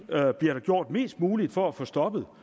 der bliver gjort mest muligt for at få stoppet